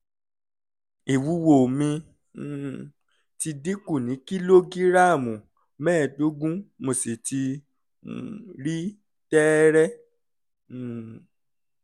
ìwúwo mí um ti dínkù ní kìlógíráàmù mẹ́ẹ̀ẹ́dógún mo sì ti um rí tẹ́ẹ́rẹ́ um